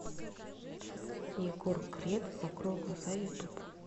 егор крид закрой глаза ютуб